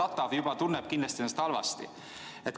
Aga ähvardatu tunneb ennast kindlasti halvasti.